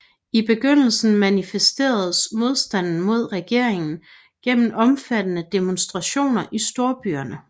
I begyndelsen manifesteredes modstanden mod regeringen gennem omfattende demonstrationer i storbyerne